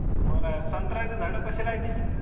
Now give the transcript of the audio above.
बरं हाय, संत्र्याचे झाड कशे